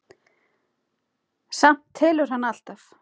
Samt telur hann alltaf.